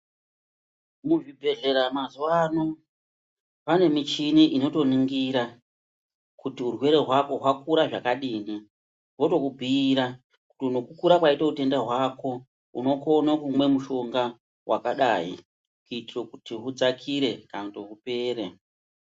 Muzvibhehlera mazuwano, pane michini inotoningira kuti urwere hwako hwakura zvakadini, votokubhuira kuti nokukura kwaita utenda hwako unokone kumwa mushonga wakadai kuitira kuti hudzakire kana kuti hupere.